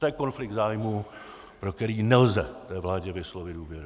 To je konflikt zájmů, pro který nelze té vládě vyslovit důvěru.